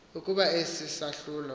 ukuba esi sahlulo